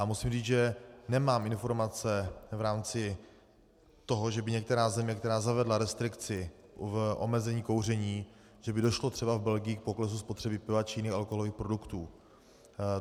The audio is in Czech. A musím říct, že nemám informace v rámci toho, že by některá země, která zavedla restrikci v omezení kouření, že by došlo třeba v Belgii k poklesu spotřeby piva či jiných alkoholových produktů.